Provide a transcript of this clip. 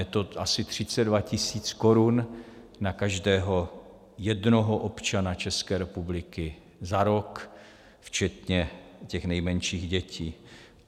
Je to asi 32 tisíc korun na každého jednoho občana České republiky za rok včetně těch nejmenších dětí.